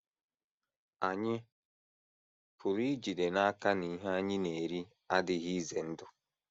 Ànyị pụrụ ijide n’aka na ihe anyị na - eri adịghị ize ndụ?